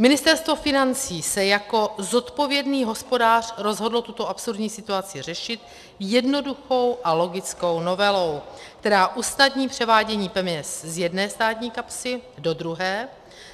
Ministerstvo financí se jako zodpovědný hospodář rozhodlo tuto absurdní situaci řešit jednoduchou a logickou novelou, která usnadní převádění peněz z jedné státní kapsy do druhé,